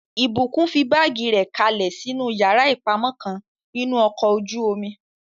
Ìbùkún fi báàgì rẹ̀ kalẹ̀ sínú yàrá ìpamọ́ kan nínú ọkọ̀ ojú-omi